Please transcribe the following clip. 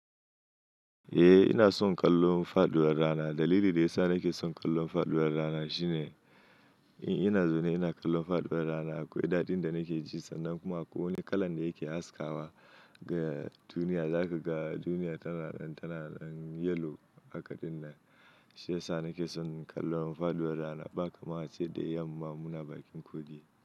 Eh ina son kallon faɗuwar rana. Dalili da ya sa nake son kallon faɗuwar rana shine, in ina zaune ina kallon faɗuwar rana, akwai daɗin da nake ji, sannan kuma akwai wani kalan da yake haskawa ga duniya, zaka ga duniya tana ɗan tana ɗan yellow haka ɗinnan, Shi ya sa nake son kallo faɗuwar rana, ba kamar a ce da yamma, muna bakin kogi.